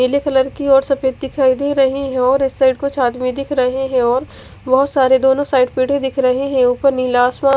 नीले कलर की है और सफेद दिखाई दे रही है और इस साइड कुछ आदमी दिख रहे है और बहोत सारे दोनों साइड पेडे दिख रहे है और उपर नीला आसमान--